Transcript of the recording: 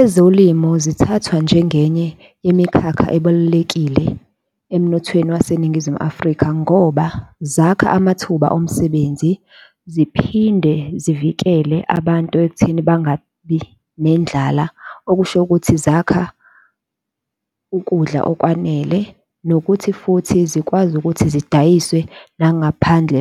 Ezolimo zithathwa njengenye imikhakha ebalulekile emnothweni waseNingizimu Afrika. Ngoba zakha amathuba omsebenzi ziphinde zivikele abantu ekutheni bangabi nendlala, okusho ukuthi zakha ukudla okwanele nokuthi futhi zikwazi ukuthi zidayiswe nangaphandle